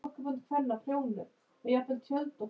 Kata og fór að gráta.